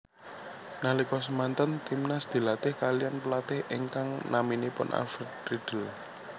Nalika semanten Timnas dilatih kaliyan pelatih ingkang naminipun Alfred Riedl